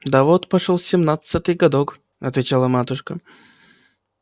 да вот пошёл семнадцатый годок отвечала матушка